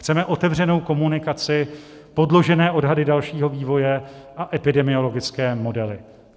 Chceme otevřenou komunikaci, podložené odhady dalšího vývoje a epidemiologické modely.